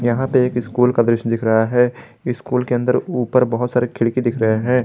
यहां पे एक स्कूल का दृश्य दिख रहा है स्कूल के अंदर ऊपर बहुत सारे खिड़की दिख रहे हैं।